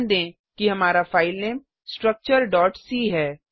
ध्यान दें कि हमारा फाइलनेम स्ट्रक्चर c है